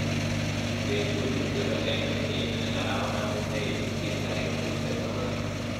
Betut ingiro eng wikini arawani neibutiny tarik tupten ak aeng